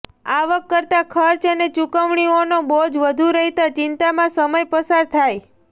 આવક કરતાં ખર્ચ અને ચૂકવણીઓનો બોજ વધુ રહેતા ચિંતામાં સમય પસાર થાય